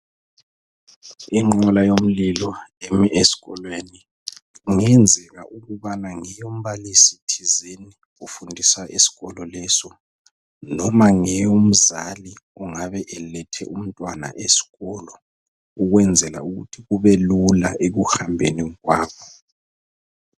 Inqola yomlilo emi esikolweni kungenzeka ukubana ngeyombalisi thizeni ofundisa esikolo leso noma ngeyomzali ongabe elethe umntwana esikolo ukwenzela ukuthi kubelula ekuhambeni kwabo.